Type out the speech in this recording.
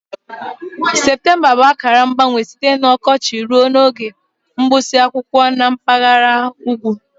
Septemba bụ akara mgbanwe site na ọkọchị ruo n'oge mgbụsị akwụkwọ na mpaghara ugwu